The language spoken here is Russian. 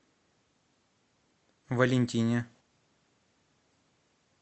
валентине